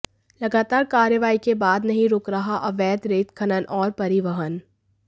लगातार कार्रवाई के बाद नहीं रुक रहा अवैध रेत खनन और परिवहन